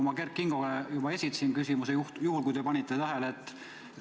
Ma Kert Kingole juba esitasin selle küsimuse, juhul kui te panite tähele.